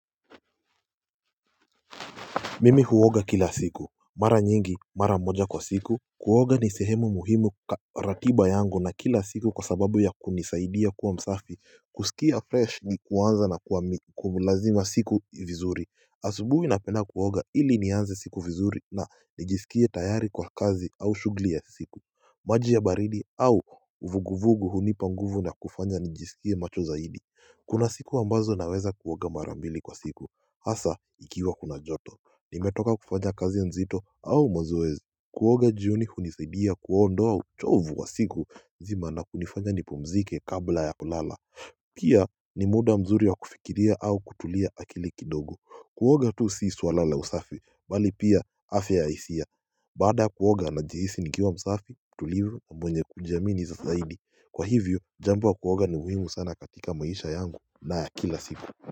Mimi huoga kila siku. Mara nyingi mara moja kwa siku. Kuoga ni sehemu muhimu ratiba yangu na kila siku kwa sababu ya kunisaidia kuwa msafi, kusikia fresh ni kuanza na kulazima siku vizuri. Asubuhi napenda kuoga ili nianze siku vizuri na nijisikie tayari kwa kazi au shughuli ya siku maji ya baridi au uvuguvugu hunipa nguvu na kufanya nijisikie macho zaidi. Kuna siku ambazo naweza kuoga mara mbili kwa siku, hasa ikiwa kuna joto. Nimetoka kufanya kazi nzito au mazoezi. Kuoga jioni hunisaidia kuondoa uchovu wa siku nzima na kunifanya nipumzike kabla ya kulala. Pia ni muda mzuri wa kufikiria au kutulia akili kidogo. Kuoga tu si swala la usafi bali pia afya ya hisia. Baada kuoga najihisi nikiwa msafi tulivu na mwenye kujiamini zaidi. Kwa hivyo jambo wa kuoga ni muhimu sana katika maisha yangu na ya kila siku.